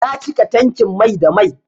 Na cika tankin mai da mai.